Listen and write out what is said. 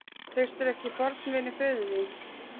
Treystirðu ekki fornvini föður þíns?